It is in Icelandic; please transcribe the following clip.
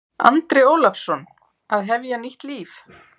Andri Ólafsson: Að hefja nýtt líf?